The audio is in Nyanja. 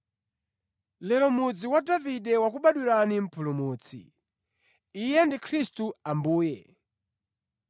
Lero mʼmudzi wa Davide wakubwadwirani Mpulumutsi; Iye ndi Khristu Ambuye.